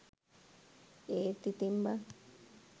ඒත් ඉතින් බන්